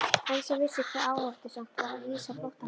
Elsa vissi hve áhættusamt var að hýsa flóttamanninn.